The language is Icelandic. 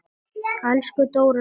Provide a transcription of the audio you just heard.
Elsku Dóra systir.